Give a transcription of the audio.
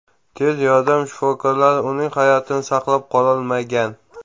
Tez yordam shifokorlari uning hayotini saqlab qololmagan.